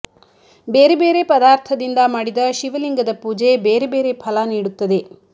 ಬೇರೆ ಬೇರೆ ಪದಾರ್ಥದಿಂದ ಮಾಡಿದ ಶಿವಲಿಂಗದ ಪೂಜೆ ಬೇರೆ ಬೇರೆ ಫಲ ನೀಡುತ್ತದೆ